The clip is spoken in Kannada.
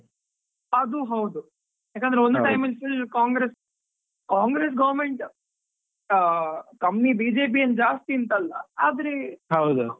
ಅದು ಹೌದು, ಯಾಕಂದ್ರೆ ಒಂದು time ಅಲ್ಲಿ full ಕಾಂಗ್ರೆಸ್ ಕಾಂಗ್ರೆಸ್ government ಆ ಕಮ್ಮಿ BJP ಏನ್ ಜಾಸ್ತಿ ಅಂತ ಅಲ್ಲ, ಆದ್ರೆ.